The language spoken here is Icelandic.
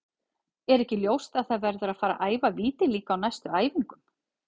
Er ekki ljóst að það verður að fara að æfa víti líka á næstu æfingum?